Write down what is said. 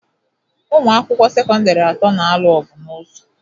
Ụmụ akwụkwọ sekọndịrị atọ n'alụ ọgwu n'ụzọ.